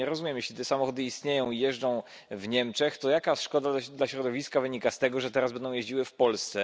No ja nie rozumiem. Jeśli te samochody istnieją i jeżdżą w Niemczech, to jaka szkodliwość dla środowiska wynika z tego, że teraz będą jeździły w Polsce?